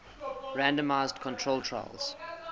randomized controlled trials